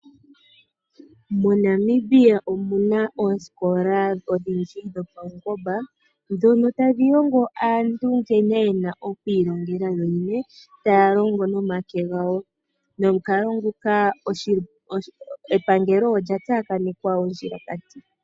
MoNamibia omu na oosikola odhindji dhopaungomba ndhono tadhi longo aantu nkene ye na okwiilongela yo yene taya longo nomake gawo nomukalo nguka epangelo olya tsakanekwa ondjilakati.